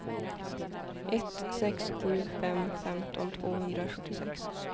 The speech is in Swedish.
ett sex sju fem femton tvåhundrasjuttiosex